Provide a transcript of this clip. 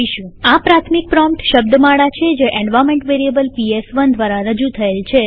આ પ્રાથમિક પ્રોમ્પ્ટ શબ્દમાળા છે જે એન્વાર્નમેન્ટ વેરીએબલ પીએસ1 દ્વારા રજુ થયેલ છે